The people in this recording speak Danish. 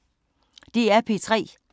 DR P3